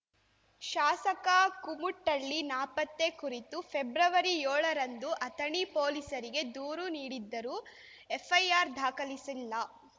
ಶಾಸಕ ಕುಮುಟಳ್ಳಿ ನಾಪತ್ತೆ ಕುರಿತು ಫೆಬ್ರವರಿಯೋಳರಂದು ಅಥಣಿ ಪೊಲೀಸರಿಗೆ ದೂರು ನೀಡಿದ್ದರೂ ಎಫ್‌ಐರ್ ದಾಖಲಿಸಿಲ್ಲ